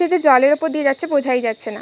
কি একটা জলের উপর দিয়ে যাচ্ছে বোঝাই যাচ্ছে না।